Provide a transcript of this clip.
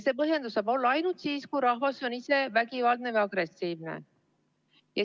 See põhjus saab olla ainult siis, kui rahvas on ise vägivaldne või agressiivne.